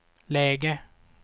läge